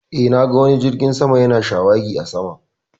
Eh, na ga wani jirgin sama ya na shawagi a sama